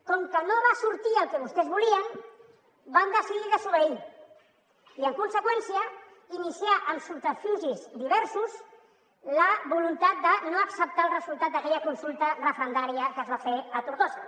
com que no va sortir el que vostès volien van decidir desobeir i en conseqüència iniciar amb subterfugis diversos la voluntat de no acceptar el resultat d’aquella consulta referendària que es va fer a tortosa